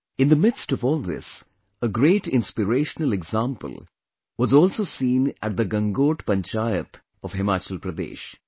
In the midst of all this, a great inspirational example was also seen at the Gangot Panchayat of Himachal Pradesh